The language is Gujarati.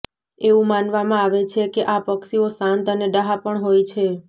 એવું માનવામાં આવે છે કે આ પક્ષીઓ શાંત અને ડહાપણ હોય છે